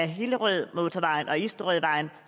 hillerødmotorvejen og isterødvejen